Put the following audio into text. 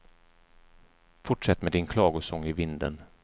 Fortsätt med din klagosång i vinden.